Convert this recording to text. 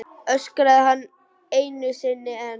öskraði hann einu sinni enn.